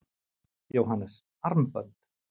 Jóhannes: Armbönd?